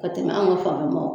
Ka tɛmɛ an ka faamu mɔ